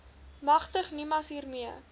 magtig nimas hiermee